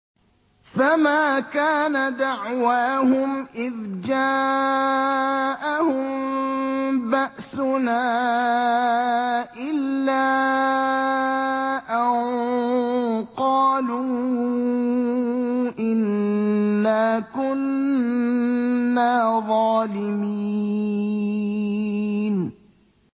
فَمَا كَانَ دَعْوَاهُمْ إِذْ جَاءَهُم بَأْسُنَا إِلَّا أَن قَالُوا إِنَّا كُنَّا ظَالِمِينَ